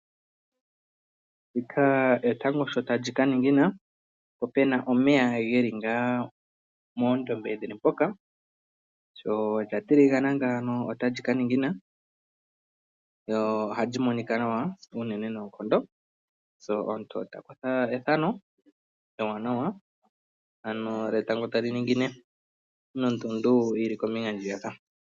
Ndika etango sho ta li ka ningina, po pu na omeya ge li moondombe. Sho lya tiligana ngaaka otali ka ningina nohali monika nawa unene noonkondo. Omuntu ota kutha ethano ewanawa lyetango tali ningine nondundu yi li kombinga ndjiyaka.